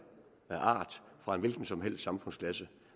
af enhver art og fra en hvilken som helst samfundsklasse